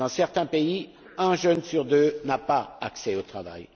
Dans certains pays, un jeune sur deux n'a pas accès au travail.